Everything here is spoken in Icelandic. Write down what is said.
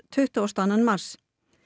tuttugasta og annan mars